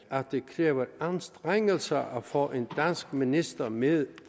at det kræver anstrengelser at få en dansk minister med